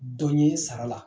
Dɔ ɲe sara la